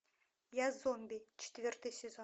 я зомби четвертый сезон